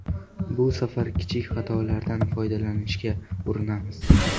Bu safar kichik xatolardan foydalanishga urinamiz.